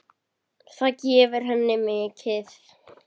Það gefur henni mikið.